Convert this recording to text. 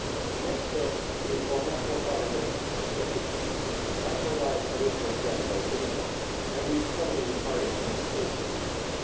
The next step is for national governments to step in and provide additional capital to the fund, and we strongly encourage Member States to do so.